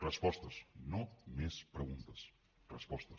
respostes no més preguntes respostes